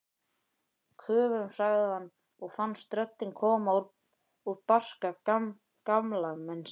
Köfum sagði hann og fannst röddin koma úr barka gamalmennis.